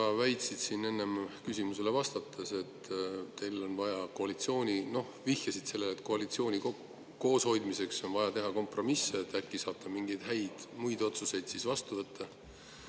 Sa väitsid siin enne küsimusele vastates, noh, vihjasid sellele, et teil on vaja koalitsiooni kooshoidmiseks teha kompromisse, sest siis saate äkki mingeid muid häid otsuseid vastu võtta.